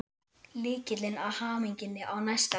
Lykillinn að hamingjunni á næsta leiti.